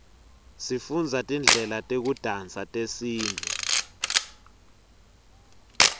sifundza tidlela tekudansa tesintfu